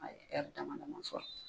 A ye dama dama sɔrɔ